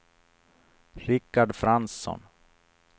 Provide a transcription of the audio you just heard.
Rickard Fransson